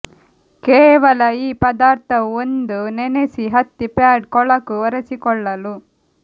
ಕೇವಲ ಈ ಪದಾರ್ಥವು ಒಂದು ನೆನೆಸಿ ಹತ್ತಿ ಪ್ಯಾಡ್ ಕೊಳಕು ಒರೆಸಿಕೊಳ್ಳಲು